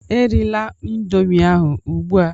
Erila Indomie ahụ ugbua!